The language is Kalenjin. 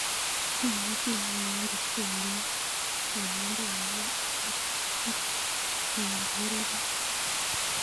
Imuchi imwawan kotkwendi kinandenyun ak kit naurereni